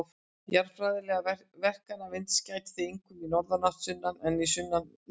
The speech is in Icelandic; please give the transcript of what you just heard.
Jarðfræðilegra verkana vinds gætir því einkum í norðanátt sunnanlands en í sunnanátt norðanlands.